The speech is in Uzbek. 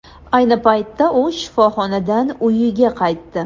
Ayni paytda u shifoxonadan uyiga qaytdi.